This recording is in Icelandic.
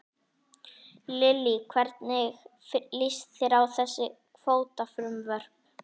Lillý: Hvernig líst þér á þessi kvótafrumvörp?